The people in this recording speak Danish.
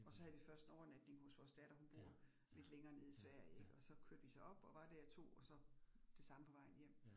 Og så havde vi først 1 overnatning hos vores datter, hun bor lidt længere nede i Sverige ik, og så kørte vi så op og var der i 2, og så det samme på vejen hjem